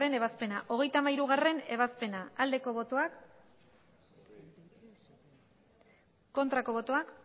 ebazpena hogeita hamairugarrena ebazpena bozka dezakegu aldeko botoak